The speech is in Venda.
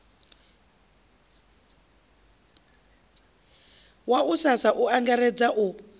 wa ussasa u angaredza u